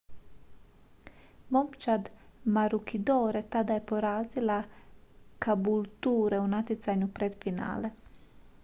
momčad maroochydore tada je porazila caboolture u natjecanju pred finale